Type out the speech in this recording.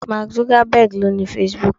Mark Zuckerberg lo ni Facebook.